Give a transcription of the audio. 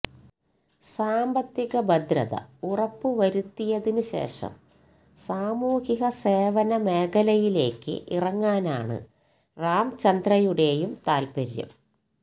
സാമ്പത്തിക ഭദ്രത ഉറപ്പുവരുത്തിയതിന് ശേഷം സാമൂഹിക സേവന മേഖലയിലേക്ക് ഇറങ്ങാനാണ് രാംചന്ദ്രയുടെയും താത്പര്യം